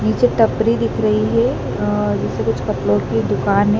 नीचे टपरी दिख रही है अ जैसे कुछ कपड़ो की दुकाने--